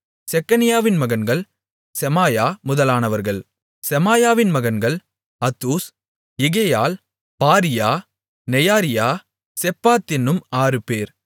செக்கனியாவின் மகன்கள் செமாயா முதலானவர்கள் செமாயாவின் மகன்கள் Hattush Igal Bariah Neariah Shaphat என்னும் ஆறுபேர்